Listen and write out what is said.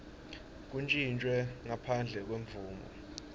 kuntjintjwe ngaphandle kwemvumo